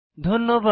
ধন্যবাদ